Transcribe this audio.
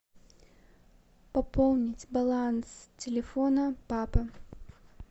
пополнить баланс телефона папы